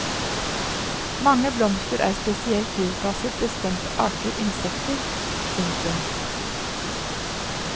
Mange blomster er spesielt tilpasset bestemte arter insekter. punktum